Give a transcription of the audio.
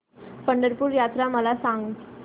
पंढरपूर यात्रा मला सांग